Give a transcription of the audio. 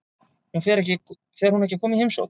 Fer hún ekki að koma í heimsókn?